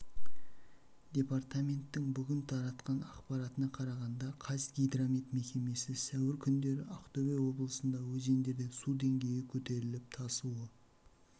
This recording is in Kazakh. департаменттің бүгін таратқан ақпаратына қарағанда қазгидромет мекемесі сәуір күндері ақтөбе облысында өзендерде су деңгейі көтеріліп тасуы